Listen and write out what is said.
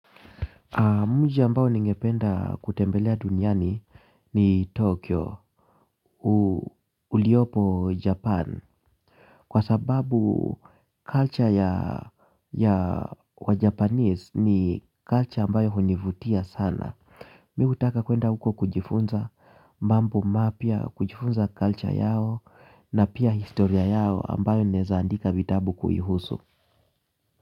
Mji ambao ningependa kutembelea duniani ni Tokyo, uliopo Japan. Kwa sababu culture ya wajapanese ni culture ambayo hunivutia sana. Mi hutaka kuenda huko kujifunza mambo mapya, kujifunza culture yao na pia historia yao ambayo naweza andika vitabu kuihusu.